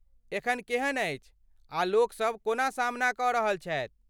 एखन केहन अछि आ लोकसभ कोना सामना कऽ रहल छथि?